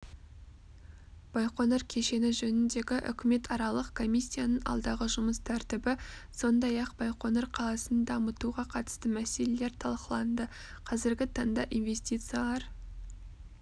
байқоңыр кешені жөніндегі үкіметаралық комиссияның алдағы жұмыс тәртібі сондай-ақбайқоңыр қаласындамытуға қатысты мәселелер талқыланды қазіргі таңда инвестициялар